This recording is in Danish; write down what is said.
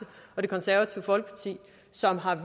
og det konservative folkeparti som har